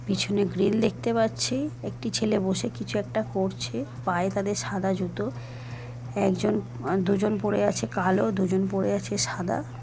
পিছনে গ্রিল দেখতে পাচ্ছি একটি ছেলে বসে কিছু একটা করছে পায়ে তাদের সাদা জুতো একজোন অ্য দুজন পরে আছে কালো দুজন পরে আছে সাদা।